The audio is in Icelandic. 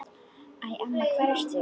Æ, amma hvar ertu?